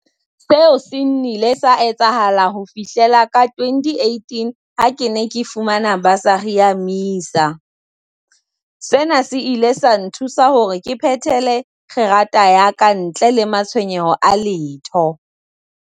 Seo se nnile sa etsahala ho fihlela ka 2018 ha ke ne ke fumana basari ya MISA. Sena se ile sa nthusa hore ke phethele kgerata ya ka ntle le matshwenyeho a letho.